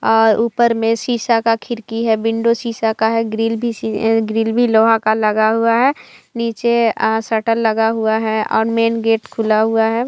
अ ऊपर मे शीशा का खिड़की है विंडो शीशा का है ग्रिल भी शी ग्रिल भी लोहा का लगा हुआ है नीचे आ शटर लगा हुआ है और मैन गेट खुला हुआ है।